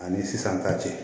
Ani sisan ka cɛ